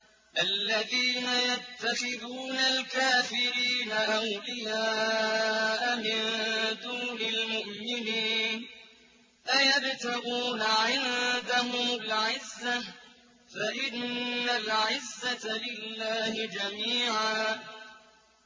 الَّذِينَ يَتَّخِذُونَ الْكَافِرِينَ أَوْلِيَاءَ مِن دُونِ الْمُؤْمِنِينَ ۚ أَيَبْتَغُونَ عِندَهُمُ الْعِزَّةَ فَإِنَّ الْعِزَّةَ لِلَّهِ جَمِيعًا